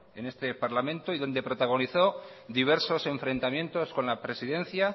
en este parlamento y donde protagonizó diversos enfrentamientos con la presidencia